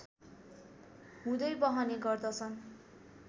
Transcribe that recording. हुँदै बहने गर्दछन्